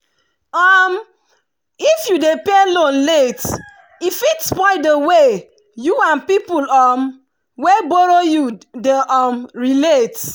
um if you dey pay loan late e fit spoil the way you and people um wey borrow you dey um relate